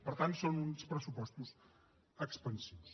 per tant són uns pressupostos expansius